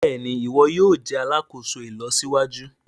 Béèni iwọ yóò jé alàkóso ìlọsíwájú.